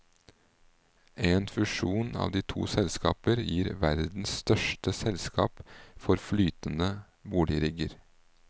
En fusjon av de to selskaper gir verdens største selskap for flytende boligrigger.